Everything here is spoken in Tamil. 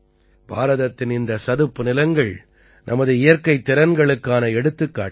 பாரதத்தின் இந்த சதுப்பு நிலங்கள் நமது இயற்கைத் திறன்களுக்கான எடுத்துக்காட்டுகள்